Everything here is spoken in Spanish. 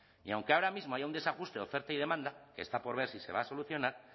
y aunque ahora mismo haya un desajuste de oferta y demanda que está por ver si se va a solucionar